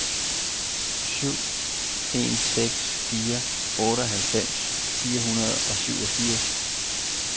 syv en seks fire otteoghalvfems fire hundrede og syvogfirs